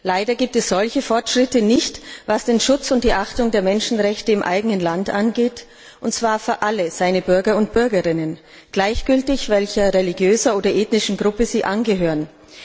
Leider gibt es solche Fortschritte nicht, was den Schutz und die Achtung der Menschenrechte im eigenen Land angeht, und zwar für alle seine Bürgerinnen und Bürger, gleichgültig welcher religiöser oder ethnischen Gruppe sie angehören.